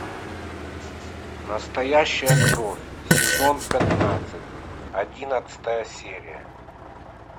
настоящая кровь сезон пятнадцать одиннадцатая серия